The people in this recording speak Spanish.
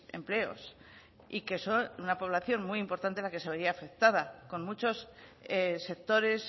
empleos y que son una población muy importante la que se vería afectada con muchos sectores